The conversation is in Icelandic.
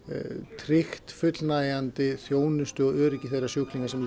tryggt fullnægjandi þjónustu og öryggi þeirra sjúklinga sem